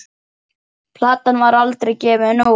Platan var aldrei gefin út.